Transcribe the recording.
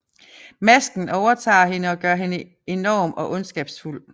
Masken overtager hende og gør hende enorm og ondskabsfuld